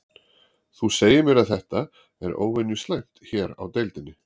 Þú segir mér að þetta, er óvenju slæmt hér á deildinni?